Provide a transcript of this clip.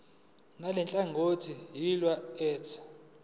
ngalenhlangano yiya kut